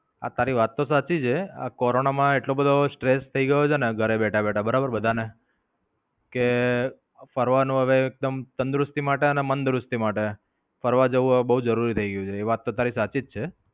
આ તારી વાત તો સાચી છે. આ કોરોના માં એટલો બધો stress થાય ગયો છેને ઘરે બેઠા બેઠા બધા ને કે ફરવાનું એકદમ તંદુરસ્તી માટે અને મંદુરસ્તી માટે. ફરવા જવું એ બોવ જરૂરી થઈ ગયું છે એ વાત તો તારી સાચી જ છે.